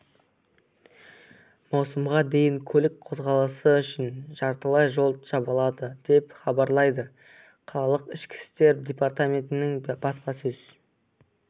маусымға дейін көлік қозғалысы үшін жартылай жол жабылады деп хабарлайды қалалық ішкі істер департаментінің баспасөз